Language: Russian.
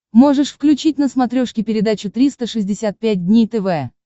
можешь включить на смотрешке передачу триста шестьдесят пять дней тв